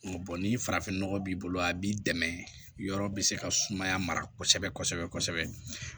ni farafinɔgɔ b'i bolo a b'i dɛmɛ yɔrɔ bɛ se ka sumaya mara kosɛbɛ kosɛbɛ